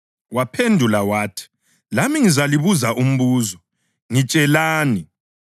Waphendula wathi, “Lami ngizalibuza umbuzo. Ngitshelani,